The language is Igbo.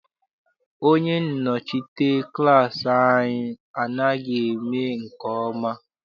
Onye nnọchite klass anyị anaghị eme nke ọma.